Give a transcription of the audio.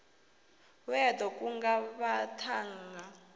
we a ḓo kunga vhaṱhannga